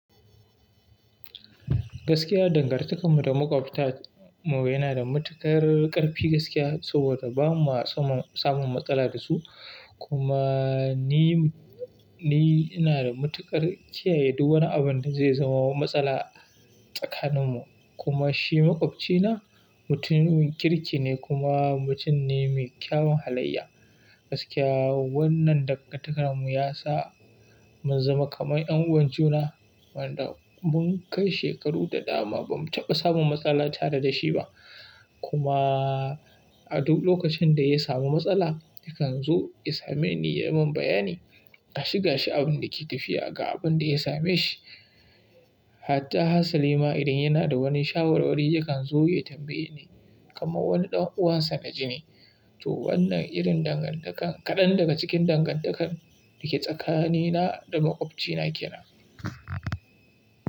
Gaskiya dangantakarmu da maƙwabtanmu yana da matuƙar ƙarfi gaskiya saboda ba mu samun matsala da su kuma ni, ni ina da matuƙar kiyaye duk wani abin da zai zamo matsala tsakaninmu kuma shi maƙwabcina mutumin kirki ne kuma mutum ne mai kyawun halayya. Gaskiya wannan dangantakarmu ya sa mun zama kamar ƴan uwan juna wanda mun kai shekaru da dama ba mu taɓa samun matsala tare da shi ba. Kuma a duk lokacin da ya samu matsala yakan zo ya same ni ya mun bayani, gashi gashi abin da ke tafiya ga abin da ya same shi. Hatta Hassan Lima idan yana da wani shawarwari yakan zo ya tambaye ni kamar wani ɗan uwansa na jini. To wannan irin dangantaka kaɗan daga cikin dangantakar da ke tsakanina da maƙwabcina kenan.